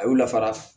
A y'u lafara